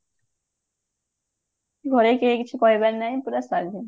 ଘରେ କେହି କିଛି କହିବାର ନାହିଁ ପୁରା ସ୍ଵାଧୀନ